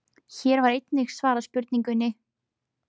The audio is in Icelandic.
Hér var einnig svarað spurningunni: